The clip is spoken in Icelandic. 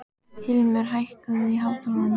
Hilmir, hækkaðu í hátalaranum.